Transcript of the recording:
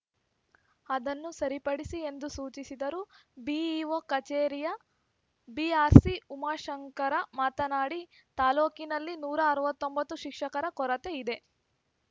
ಅದನ್ನು ಸರಿಪಡಿಸಿ ಎಂದು ಸೂಚಿಸಿದರು ಬಿಇಓ ಕಚೇರಿಯ ಬಿಆರ್‌ಸಿ ಉಮಾಶಂಕರ ಮಾತನಾಡಿ ತಾಲೂಕಿನಲ್ಲಿ ನೂರ ಅರವತ್ತೊಂಬತ್ತು ಶಿಕ್ಷಕರ ಕೊರತೆ ಇದೆ